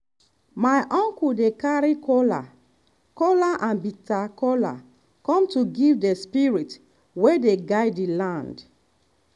my uncle dey carry kola kola and bitter kola come to give the spirits wey dey guide the land.